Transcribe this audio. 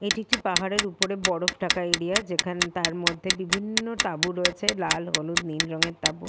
এটি একটি পাহাড় আর উপর বরফ ঢাকা এরিয়া যেখান তার মধ্যে বিভিন্ন তাবু রয়েছে লাল হলুদ নীল রঙের তাবু।